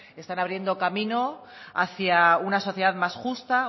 están abriendo caminos hacia una sociedad más justa